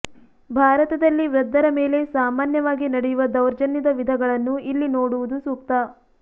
ಭಾರತದಲ್ಲಿ ವೃದ್ಧರ ಮೇಲೆ ಸಾಮಾನ್ಯವಾಗಿ ನಡೆಯುವ ದೌರ್ಜನ್ಯದ ವಿಧಗಳನ್ನು ಇಲ್ಲಿ ನೋಡುವುದು ಸೂಕ್ತ